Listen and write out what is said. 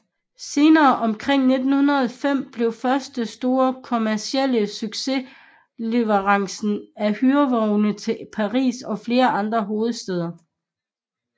Senere omkring 1905 blev første store kommercielle succes leverancen af hyrevogne til Paris og flere andre hovedstæder